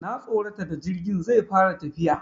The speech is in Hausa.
Na tsorata da jirgin zai fara tafiya.